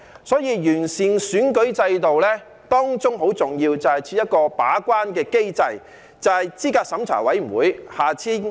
所以，要完善選舉制度，當中很重要的是要設立一個把關的機制，也就是資審會。